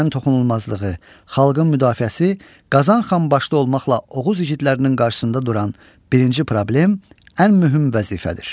Vətənin toxunulmazlığı, xalqın müdafiəsi Qazan xan başçı olmaqla Oğuz igidlərinin qarşısında duran birinci problem, ən mühüm vəzifədir.